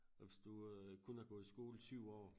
Og hvis du øh kun har gået i skole i 7 år